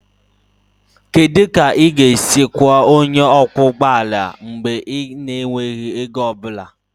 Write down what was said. Kedu otu ị ga-esi kwụọ onye ọkwọ ụgbọ ala mgbe ị na-enweghị ego ọ bụla?